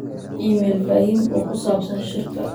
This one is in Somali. iimayl faahim oo ku saabsan shirka